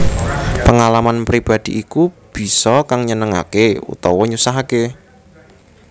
Pengalaman pribadi iku bisa kang nyenengake utawa nyusahake